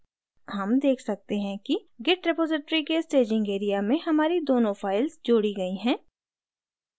हम देख सकते हैं कि git repository के staging area में हमारी दोनों files जोड़ी git हैं